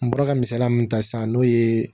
N bɔra ka misaliya min ta sisan n'o ye